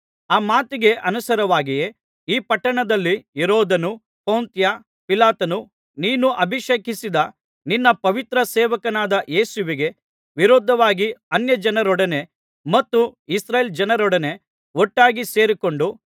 ಆ ಮಾತಿಗೆ ಅನುಸಾರವಾಗಿಯೇ ಈ ಪಟ್ಟಣದಲ್ಲಿ ಹೆರೋದನೂ ಪೊಂತ್ಯ ಪಿಲಾತನೂ ನೀನು ಅಭಿಷೇಕಿಸಿದ ನಿನ್ನ ಪವಿತ್ರ ಸೇವಕನಾದ ಯೇಸುವಿಗೆ ವಿರೋಧವಾಗಿ ಅನ್ಯಜನರೊಡನೆ ಮತ್ತು ಇಸ್ರಾಯೇಲ್ ಜನರೊಡನೆ ಒಟ್ಟಾಗಿ ಸೇರಿಕೊಂಡು